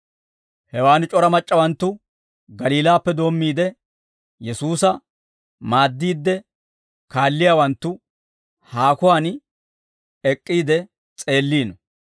Hewaan c'ora mac'c'awanttu, Galiilaappe doommiide, Yesuusa maaddiidde kaalliyaawanttu, haakuwaan ek'k'iide s'eelliino.